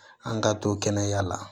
An ka to kɛnɛya la